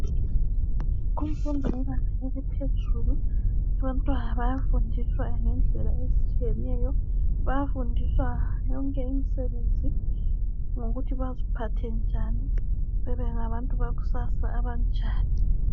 Kumfundo yebanga eliphezulu abantwana bayafundiswa ngendlela ezitshiyeneyo bayafundiswa yonke imisebenzi lokuthi baziphathe njani bebengabantu bakusasa abanjani.